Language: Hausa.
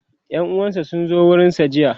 ƴan uwansa sun zo gurinsa jiya